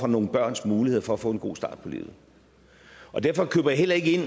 nogle børns muligheder for at få en god start på livet derfor køber jeg heller ikke ind